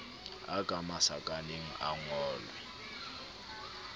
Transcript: a ka masakaneng a ngolwe